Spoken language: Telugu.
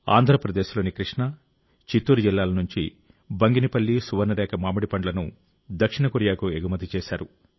ఆంధ్రప్రదేశ్లోని కృష్ణా చిత్తూరు జిల్లాల నుంచి బంగనపల్లి సువర్ణరేఖ మామిడి పండ్లను దక్షిణ కొరియాకు ఎగుమతి చేశారు